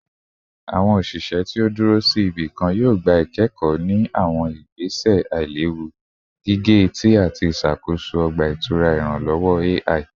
Awọn oṣiṣẹ ti o duro si ibikan yoo gba ikẹkọ ni awọn igbese ailewu gige-eti ati iṣakoso ọgba-itura iranlọwọ AI